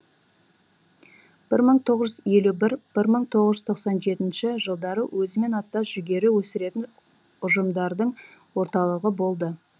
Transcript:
бір мың тоғыз жүз елу бір бір мың тоғыз жүз тоқсан жетінші жылдары өзімен аттас жүгері өсіретін ұжымшардың орталығы болды